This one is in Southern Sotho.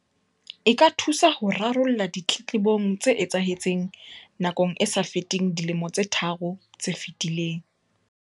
E ka thusa ho rarolla ditletlebong tse etsahetseng nakong e sa feteng dilemo tse tharo tse fetileng.